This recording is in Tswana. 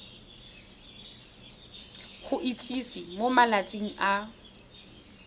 go itsise mo malatsing a